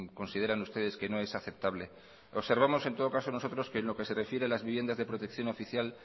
consideran ustedes que no es aceptable observamos en todo caso nosotros que en lo que se refiere a las viviendas de protección oficial